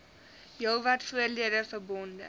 heelwat voordele verbonde